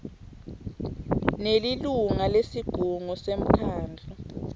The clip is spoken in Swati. nelilunga lesigungu semkhandlu